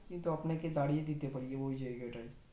কিন্তু আপনাকে দাঁড়িয়ে দিতে পার ওই জায়গায়